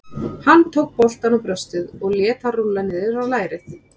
Hann tók boltann á brjóstið og lét hann rúlla niður á lærið.